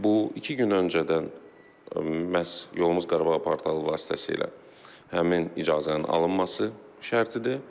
Bu iki gün öncədən məhz yolumuz Qarabağa portalı vasitəsilə həmin icazənin alınması şərtidir.